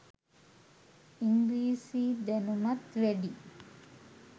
ඉන්ග්‍රීසි දැනුමත් වැඩි